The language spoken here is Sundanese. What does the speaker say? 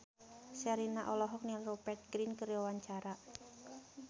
Sherina olohok ningali Rupert Grin keur diwawancara